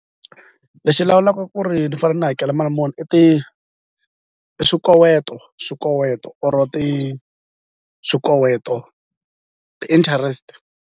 Lexi lawulaka ku ri ni fane ni hakela mali muni i i swikoweto swikoweto or swikoweto ti-interest.